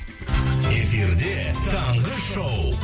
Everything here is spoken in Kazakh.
эфирде таңғы шоу